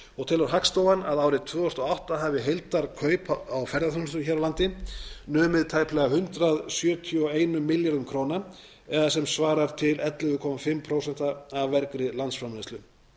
og telur hagstofan að árið tvö þúsund og átta hafi heildarkaup á ferðaþjónustu hér á landi numið tæplega hundrað sjötíu og eitt milljörðum króna eða sem svarar til ellefu og hálft prósent af vergri landsframleiðslu